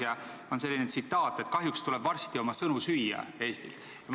Ja on selline tsitaat, et kahjuks tuleb Eestil varsti oma sõnu süüa.